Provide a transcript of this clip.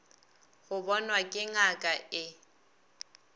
go bonwa ke ngaka e